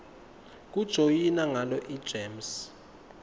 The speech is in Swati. kujoyina ngalo igems